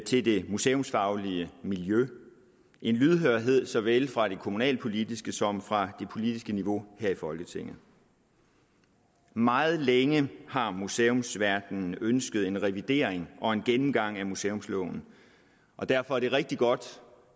til det museumsfaglige miljø en lydhørhed såvel fra det kommunalpolitiske som fra det politiske niveau her i folketinget meget længe har museumsverdenen ønsket en revidering og en gennemgang af museumsloven og derfor er det rigtig godt